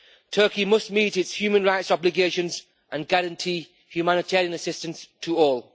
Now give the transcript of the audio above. Turkey must meet its human rights obligations and guarantee humanitarian assistance to all.